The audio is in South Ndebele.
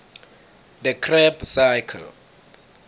the krebb cycle